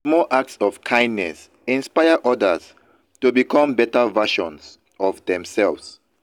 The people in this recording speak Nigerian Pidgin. small acts of kindness inspire odas to become beta versions of demselves.